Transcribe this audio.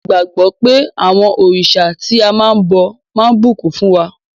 A gbàgbọ́ pé àwọn òrìṣà tí a máa ń bọ máa bùkún fún wa.